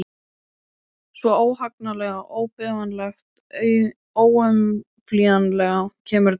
Svo, óhagganlega, óbifanlega, óumflýjanlega kemur dagurinn.